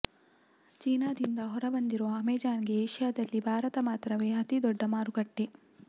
ಚೀನಾದಿಂದ ಹೊರಬಂದಿರುವ ಅಮೇಜಾನ್ ಗೆ ಏಷ್ಯಾದಲ್ಲಿ ಭಾರತ ಮಾತ್ರವೇ ಅತೀ ದೊಡ್ಡ ಮಾರುಕಟ್ಟೆ